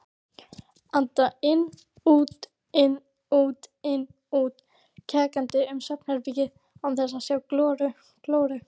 Anda inn-út-inn-út-inn-út, kjagandi um svefnherbergið án þess að sjá glóru.